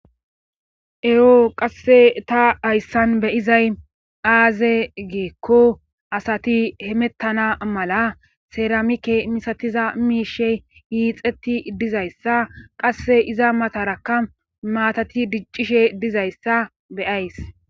ero qasse ta hayssan be izay aaze geekko asati hemettana mala seramike misatiza miishey hiixetti dizayssa qasse iza matarakka maatati diccishe dizayssa beyays